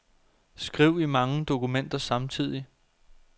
Skriv i mange dokumenter samtidig.